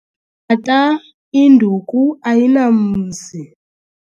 Tata 'induku ayinamzi.'